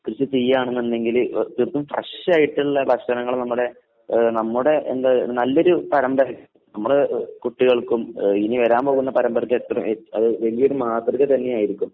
കൃഷി ചെയ്യാണെന്നുണ്ടെങ്കില് തീർത്തും ഫ്രഷ് ആയിട്ടുള്ള ഭക്ഷണങ്ങൾ നമ്മുടെ ഏഹ് നമ്മുടെ എന്താ നമ്മുടെ നല്ലൊരു പരമ്പര നമ്മുടെ കുട്ടികൾക്കും ആഹ് ഇനി വരാൻ പോകുന്ന പരമ്പരയ്ക്കും എത്ര അത് വലിയൊരു മാതൃക തന്നെ ആയിരിക്കും.